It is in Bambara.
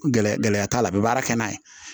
Gɛlɛya gɛlɛya t'a la a bɛ baara kɛ n'a ye